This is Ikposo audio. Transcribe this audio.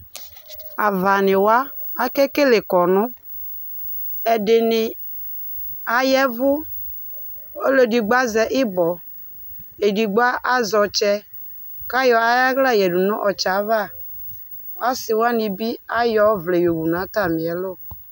Aɣanɩwa akekele kɔnʋ Ɛdɩnɩ aya ɛvʋ Ɔlʋ edigbo azɛ ɩbɔ Edigbo azɛ ɔtsɛ kʋ ayɔ ayʋ aɣla yɛ yǝdʋ nʋ ɔtsɛ yɛ ava Asɩ wanɩ bɩ ayɔ ɔvlɛ yo wʋ nʋ atamɩ ɛlʋ